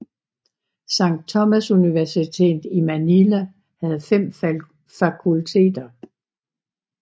Sankt Thomasuniversitetet i Manila havde fem fakulteter